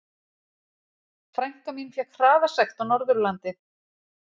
Frænka mín fékk hraðasekt á Norðurlandi.